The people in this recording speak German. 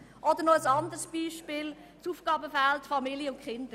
Ein weiteres Beispiel ist das Aufgabenfeld «Familien und Kinder».